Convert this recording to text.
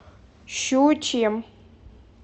щучьем